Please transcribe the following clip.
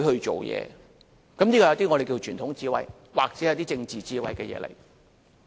這是屬於一些我們稱為傳統智慧，或是政治智慧的事情。